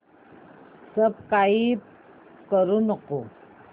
subscribe करू नको